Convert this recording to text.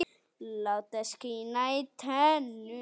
Láta skína í tennur.